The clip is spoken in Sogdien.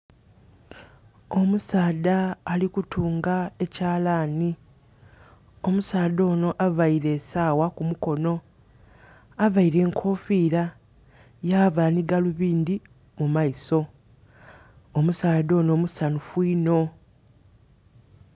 Omusaadha ali kutunga ekyalaani. Omusaadha onho availe esaawa ku mukono. Availe enkoofira, ya vaala ni galubindi ku maiso. Omusaadha onho musanhufu inho.